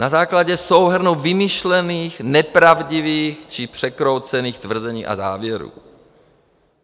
Na základě souhrnu vymyšlených, nepravdivých či překroucených tvrzení a závěrů.